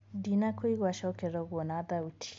ndĩnakuigwa cokera uguo na thaũtĩ